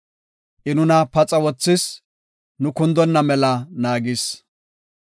I nuna paxa wothis; nu kundonna mela naagis.